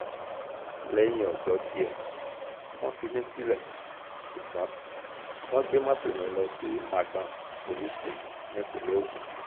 lẹ́yìn ọjọ́ díẹ̀ wọ́n fi mí sílẹ̀ ṣùgbọ́n wọ́n gbé mọ́tò yẹn lọ sí magbon police station nípínlẹ̀ ogun